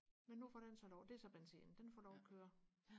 men nu får den så lov det er så benzin den får lov og køre